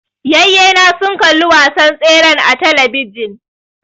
Yayye na sun kalli wasan tseren a talabijin